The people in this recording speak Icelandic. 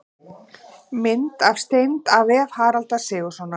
Mynd af steind: af vef Haraldar Sigurðssonar.